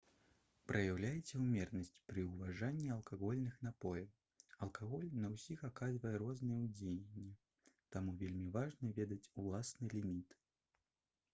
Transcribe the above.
праяўляйце ўмеранасць пры ўжыванні алкагольных напояў алкаголь на ўсіх аказвае рознае ўздзеянне таму вельмі важна ведаць уласны ліміт